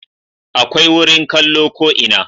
Akwai wurin kallo ko ina